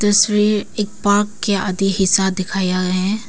तस्वीर एक पार्क के आधे हिस्सा दिखाया है।